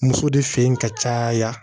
Muso de fe yen ka caya